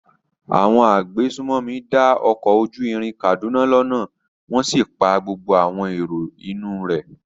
Àwọn agbésùnmọ̀mí dá ọkọ̀ ojú irin Kaduna lọ́nà wọ́n sì pa gbogbo àwọn èrò inú un rẹ̀.